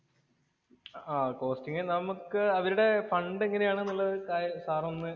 ആഹ് costing നമുക്ക് അവരുടെ fund എങ്ങനെയാണെന്നുള്ളത് സാർ ഒന്ന്